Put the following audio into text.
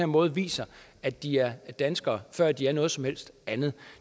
måde viser at de er danskere før de er noget som helst andet